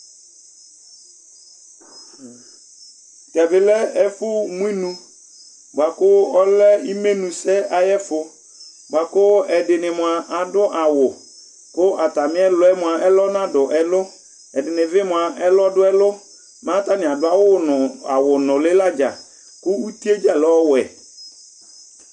tɛ bi lɛ ɛfu munu bua ku ɔlɛ imé nu sɛ ayɛ fu boa ku ɛdini mua adu awu ku atami luɛ mua ɛlɔ nadu ɛlu ɛdinibi mua ɛlɔ du ɛlu ma atani adu awu nuli ladza ku uti dza lɛ ɔwɛ